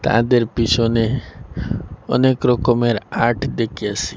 অ্যাদের পিছনে অনেক রকমের আর্ট দেখেসি।